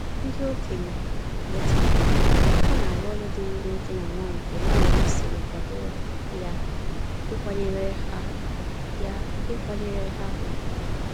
Ndị okenye leta ha, ha na arụ ọrụ diri nwoke na nwanyị ka omenala sịrị kwado ya ịkwanyere ha ya ịkwanyere ha ùgwù